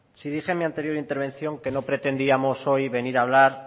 si dije en mi anterior intervención que no pretendíamos hoy venir a hablar